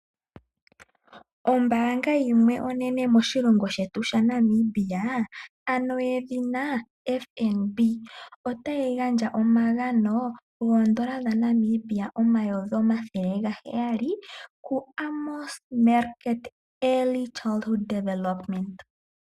Ombaanga yimwe onene moshilongo shetu sha Namibia, ano yedhina FNB, otayi gandja omagano goondola dha Namibia omayovi omathele gaheyali, ku Amos Meerkat Early Childhood Development.